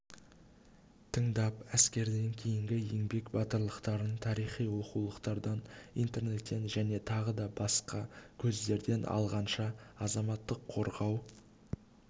тыңдап әскерден кейінгі еңбек батырлықтарын тарихи оқулықтардан интернеттен және тағы басқа көздерден алғанша азаматтық қорғау